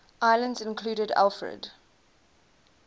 islands included alfred